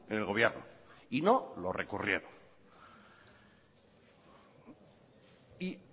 en el gobierno y no lo recurrieron y